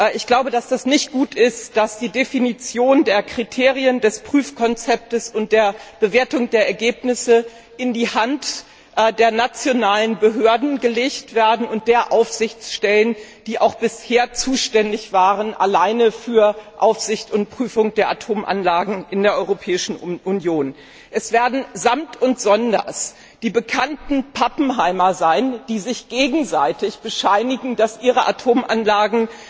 Ich glaube, dass es nicht gut ist, dass die Definition der Kriterien des Prüfkonzepts und der Bewertung der Ergebnisse in die Hand der nationalen Behörden und der Aufsichtsstellen gelegt werden, die bisher alleine für Aufsicht und Prüfung der Atomanlagen in der Europäischen Union zuständig waren. Es werden samt und sonders die bekannten Pappenheimer sein, die sich gegenseitig bescheinigen, dass ihre Atomanlagen